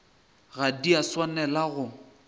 ga di a swanela go